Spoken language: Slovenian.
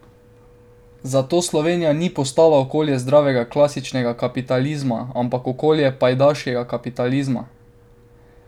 Zato Slovenija ni postala okolje zdravega klasičnega kapitalizma, ampak okolje pajdaškega kapitalizma.